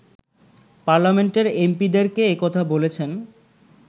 পার্লামেন্টের এমপি’দেরকে একথা বলেছেন